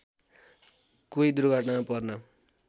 कोही दुर्घटनामा पर्न